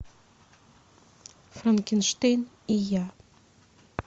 франкенштейн и я